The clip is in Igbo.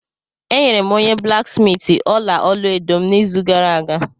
Enyere m onye blaksmiiti ọla olu edo m n'izu gara aga